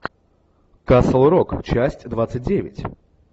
касл рок часть двадцать девять